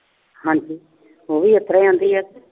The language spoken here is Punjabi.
ਹਾਂ ਜੀ। ਉਹ ਵੀ ਇਸ ਤਰ੍ਹਾਂ ਈ ਕਹਿੰਦੀ ਆ।